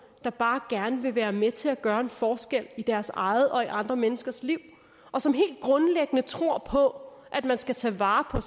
der bare gerne være med til at gøre en forskel i deres eget og andre menneskers liv og som helt grundlæggende tror på at man skal tage vare